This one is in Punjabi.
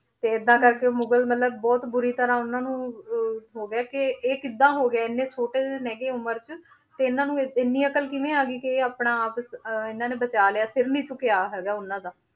ਤੇ ਏਦਾਂ ਕਰਕੇ ਮੁਗ਼ਲ ਮਤਲਬ ਬਹੁਤ ਬੁਰੀ ਤਰ੍ਹਾਂ ਉਹਨਾਂ ਨੂੰ ਅਹ ਹੋ ਗਿਆ ਇਹ ਕਿੱਦਾਂ ਹੋ ਗਿਆ, ਇੰਨਾ ਛੋਟੇ ਜਿਹੇ ਨੇ ਗੇ ਉਮਰ 'ਚ ਤੇ ਇਹਨਾਂ ਨੂੰ ਇੰਨੀ ਅਕਲ ਕਿਵੇਂ ਆ ਗਈ ਕਿ ਇਹ ਆਪਣਾ ਆਪ ਅਹ ਇਹਨਾਂ ਨੇ ਬਚਾ ਲਿਆ ਸਿਰ ਨੀ ਝੁੱਕਿਆ ਹੈਗਾ ਉਹਨਾਂ ਦਾ